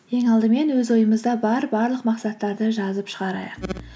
ең алдымен өз ойымызда бар барлық мақсаттарды жазып шығарайық